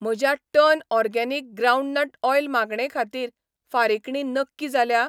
म्हज्या turn organic groundnut oil मागणे खातीर फारिकणी नक्की जाल्या?